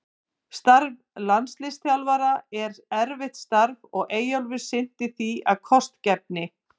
Starf landsliðsþjálfara er erfitt starf og Eyjólfur sinnti því af kostgæfni.